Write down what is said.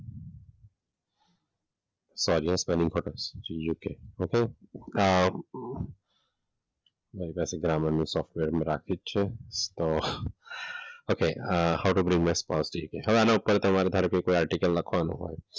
અમ મેં પાછું ગ્રામર નું સોફ્ટવેર રાખ્યું છે તો okay how to brain my હવે આના ઉપર તમારે ધારો કે કોઈ આર્ટીકલ લખવાનો હોય.